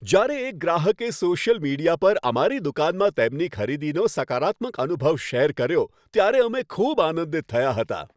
જ્યારે એક ગ્રાહકે સોશિયલ મીડિયા પર અમારી દુકાનમાં તેમની ખરીદીનો સકારાત્મક અનુભવ શેર કર્યો, ત્યારે અમે ખૂબ આનંદિત થયાં હતાં.